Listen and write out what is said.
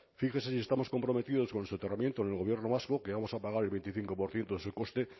fíjese si estamos comprometidos con el soterramiento en el gobierno vasco que vamos a pagar el veinticinco por ciento de su coste